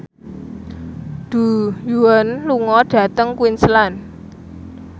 Du Juan lunga dhateng Queensland